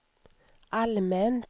allmänt